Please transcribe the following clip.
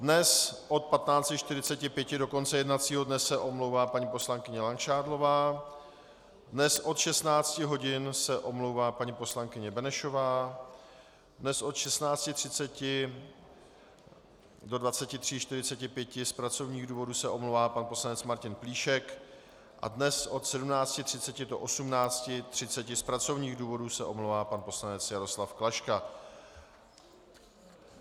Dnes od 15.45 do konce jednacího dne se omlouvá paní poslankyně Langšádlová, dnes od 16.00 hodin se omlouvá paní poslankyně Benešová, dnes od 16.30 do 23.45 z pracovních důvodů se omlouvá pan poslanec Martin Plíšek a dnes od 17.30 do 18.30 z pracovních důvodů se omlouvá pan poslanec Jaroslav Klaška.